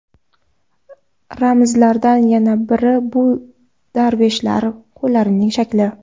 Ramzlardan yana biri bu darveshlar qo‘llarining shakli.